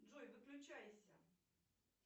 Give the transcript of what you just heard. джой выключайся